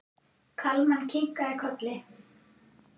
Kalman kinkaði kolli.